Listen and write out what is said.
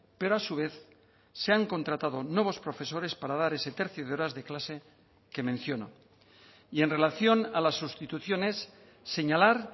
pero a su vez se han contratado nuevos profesores para dar ese tercio de horas de clase que menciono y en relación a las sustituciones señalar